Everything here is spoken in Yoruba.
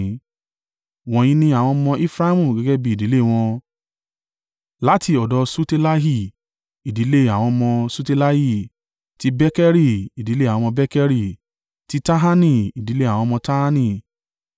Wọ̀nyí ni àwọn ọmọ Efraimu gẹ́gẹ́ bí ìdílé wọn: láti ọ̀dọ̀ Ṣutelahi, ìdílé àwọn ọmọ Ṣutelahi; ti Bekeri, ìdílé àwọn ọmọ Bekeri; ti Tahani, ìdílé àwọn ọmọ Tahani.